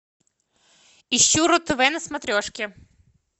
ищу ру тв на смотрешке